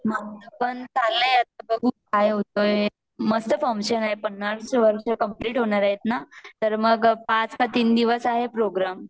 माझ पण चालल आहे आता बघूकाय होतय मस्त फंक्शन आहे पन्नास वर्ष कंप्लीट होणार आहेत ना तर मग पाच का तीन दिवस आहे प्रोग्राम